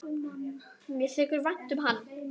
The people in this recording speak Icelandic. Mér þykir vænt um hann.